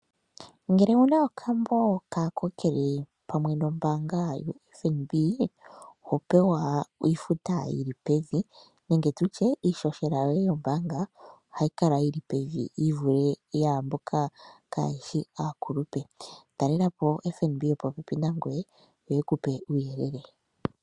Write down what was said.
Ngele owuna okambo kaakokele pamwe nombaanga yoFNB ohopewa iifuta yili pevi nenge tutye iishoshela yoye yombaanga ohayi kala yili pevi yivule yaamboka kaayeshi aakulupe, talela po o FNB yopopepi nangoye yo yeku pe uuyelele.